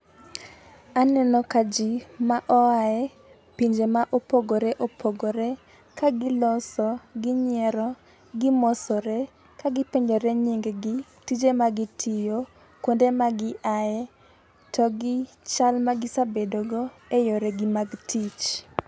Aneno ka jii ma oae pinje ma opogore opogore ka giloso ginyiero , gimosore ka gipenjore nying gi , tije ma gitiyo, kuonde ma giaye to gi chal ma gisebedo go e yore gi mag tich.